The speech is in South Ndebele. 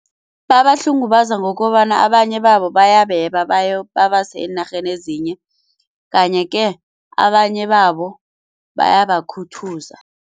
Babahlungubaza ngokobana abanye babo bayabeba babase eenarheni ezinye kanye-ke abanye babo bayabakhuthuza.